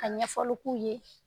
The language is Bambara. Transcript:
A ɲɛfɔli k'u ye